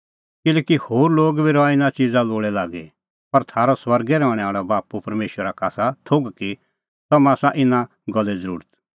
किल्हैकि होर लोग बी रहा इना च़िज़ा लोल़ै लागी पर थारअ स्वर्गै रहणैं आल़ै बाप्पू परमेशरा का आसा थोघ कि तम्हां आसा इना गल्ले ज़रुरत